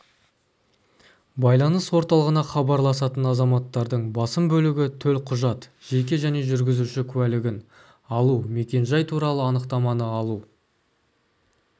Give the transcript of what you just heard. байланыс орталығына хабарласатын азаматтардың басым бөлігі төлқұжат жеке және жүргізуші куәлігін алу мекен-жай туралы анықтаманы алу